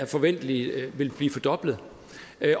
forventeligt vil blive fordoblet